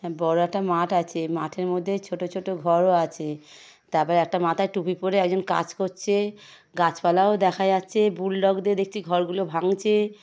হ্যাঁ বড় একটা মাঠ আছে। মাঠের মধ্যে ছোট ছোট ঘরও আছে। তারপরে একটা মাথায় টুপি পরে একজন কাজ করছে। গাছপালাও দেখা যাচ্ছে। বুলডগ দিয়ে দেখছি ঘরগুলো ভাঙছে।